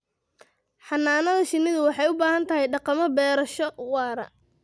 Xannaanada shinnidu waxay u baahan tahay dhaqammo beerasho waara.